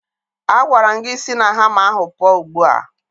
Agwara m gị si na hama ahụ pụọ ugbu a!